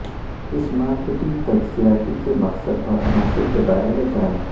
اس marketing تجزیاتی کے مقصد اور عناصر کے بارے میں جانیں